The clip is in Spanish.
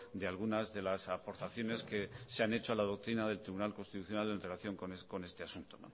de algunas de las aportaciones que se han hecho a la doctrina del tribunal constitucional en relación con este asunto